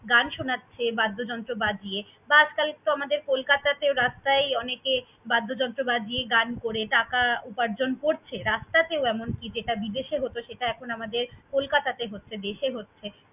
গান শোনাচ্ছে বাদ্যযন্ত্র বাজিয়ে বা আজকাল আমাদের কলকাতেও রাস্তায় অনেকে বাদ্যযন্ত্র বাজিয়ে গান করে টাকা উপার্জন করছে, রাস্তাতেও এমনকি যেটা বিদেশে হত সেটা এখন আমাদের কলকাতে হচ্ছে, দেশে হচ্ছে।